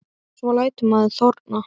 Svo lætur maður þorna.